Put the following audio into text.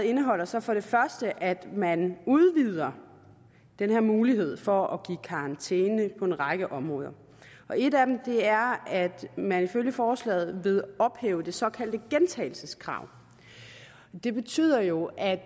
indeholder så at man udvider den her mulighed for at give karantæne på en række områder et af dem er at man ifølge forslaget vil ophæve det såkaldte gentagelseskrav det betyder jo at